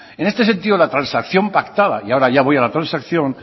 en este sentido la transacción pactada y ahora ya voy a la transacción